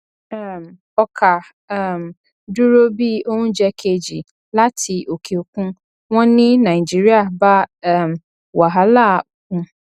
um ọkà um dúró bí oúnjẹ kejì láti òkè òkun wọn ní nàìjíríà bá um wàhálà òkun